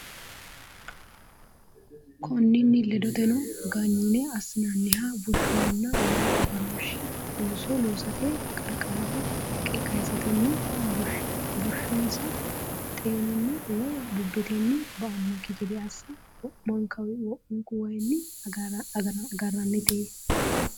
Konninni ledoteno, ganyine assinanniha bushshunna wayi agarooshshi looso loosatenni qarqaraho haqqa kayisatenni, bushs- xeenunni woy bubbetenni ba”annokki gede assa wo’munkuwayiinni agarrannite.